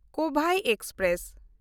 Kovai express